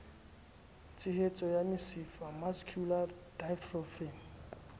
tshenyeho ya mesifa mascular dystrophy